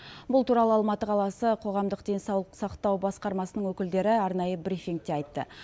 бұл туралы алматы қаласы қоғамдық денсаулық сақтау басқармасының өкілдері арнайы брифингте айтты